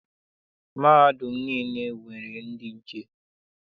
Mahadum niile nwere ndị nche.